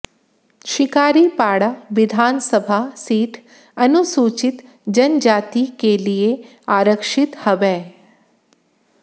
शिकारीपाड़ा विधानसभा सीट अनुसूचित जनजाति के लिए आरक्षित हबै